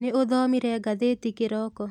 Nĩũthomire ngathĩti kĩroko?